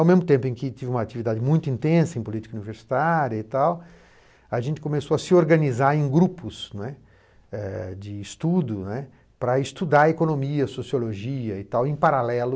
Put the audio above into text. Ao mesmo tempo em que tive uma atividade muito intensa em política universitária e tal, a gente começou a se organizar em grupos né, eh de estudo né, para estudar economia, sociologia e tal, em paralelo